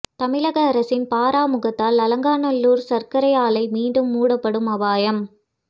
தமிழக அரசின் பாராமுகத்தால் அலங்காநல்லூர் சர்க்கரை ஆலை மீண்டும் மூடப்படும் அபாயம்